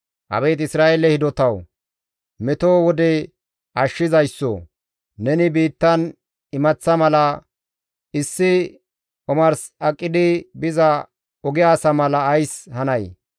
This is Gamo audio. Abeet Isra7eele hidotawu! Meto wode ashshizayssoo! neni biittan imaththa mala, issi omars aqidi biza oge asa mala ays hanay?